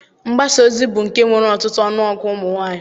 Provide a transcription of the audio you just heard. Mgbasaozi bụ nke nwere ọtụtụ ọnụọgụ ụmụnwaanyị